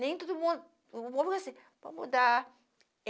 Nem todo mundo, o povo vai dizer, vou mudar.